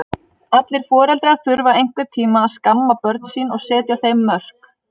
Allir foreldrar þurfa einhvern tíma að skamma börn sín og setja þeim mörk.